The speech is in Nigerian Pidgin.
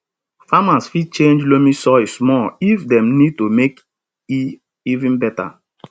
farmers fit change loamy soil small if dem need to make e even better